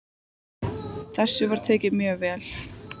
Þessu var tekið mjög vel.